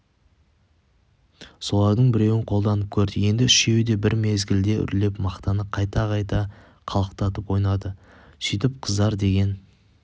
солардың біреуін қолданып көрді енді үшеуі бір мезгілде үрлеп мақтаны қайта-қайта қалықтатып ойнады сөйтіп қыздар деген